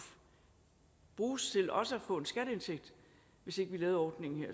bruges til også at få en skatteindtægt hvis ikke vi lavede ordningen her